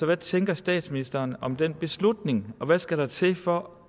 hvad tænker statsministeren om den beslutning og hvad skal der til for